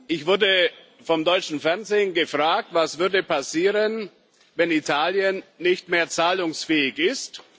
Ich wurde vom deutschen Fernsehen gefragt Was würde passieren, wenn Italien nicht mehr zahlungsfähig ist?